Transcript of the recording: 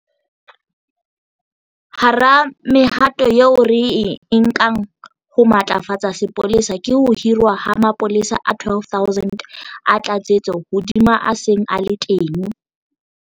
Hara mehato eo re e nkang ho matlafatsa sepolesa ke ho hirwa ha mapolesa a 12 000 a tlatsetso hodima a seng a le teng.